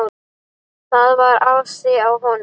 Það var asi á honum.